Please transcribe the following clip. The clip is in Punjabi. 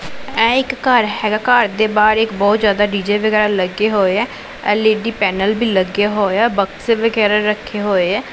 ਐ ਇੱਕ ਘਰ ਹੈਗਾ ਘਰ ਦੇ ਬਾਹਰ ਇੱਕ ਬਹੁਤ ਜਿਆਦਾ ਡੀ_ਜੇ ਵਗੈਰਾ ਲੱਗੇ ਹੋਏ ਆ ਐਲ_ਈ_ਡੀ ਪੈਨਲ ਵੀ ਲੱਗਿਆ ਹੋਇਆ ਬਕਸੇ ਵਗੈਰਾ ਵੀ ਰੱਖੇ ਹੋਏ ਐ।